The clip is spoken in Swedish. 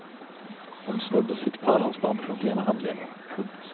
Hon snodde sitt pärlhalsband runt ena handleden. punkt